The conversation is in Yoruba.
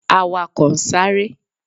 Awakọ n sare.